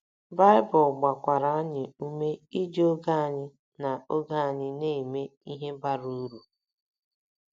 Baịbụl gbakwara anyị ume iji oge anyị na oge anyị na - eme ihe bara uru.